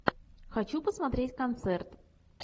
хочу посмотреть концерт